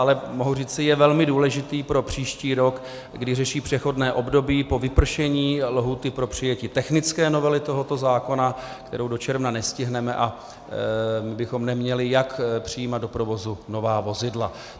Ale mohu říci, je velmi důležitý pro příští rok, kdy řeší přechodné období po vypršení lhůty pro přijetí technické novely tohoto zákona, kterou do června nestihneme, a my bychom neměli jak přijímat do provozu nová vozidla.